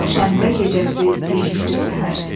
O şənbə gecəsi gecikdi səhər.